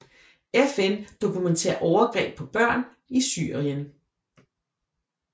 FN dokumenterer overgreb på børn i Syrien